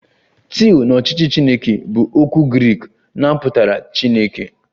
"Theo"" na ọchịchị Chineke bụ okwu Grik na ọ pụtara Chineke"